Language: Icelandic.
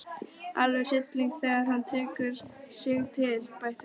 Alveg hryllilegur þegar hann tekur sig til, bætti Gurrý við.